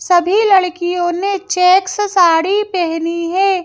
सभी लड़कियों ने चेक्स साड़ी पहनी है।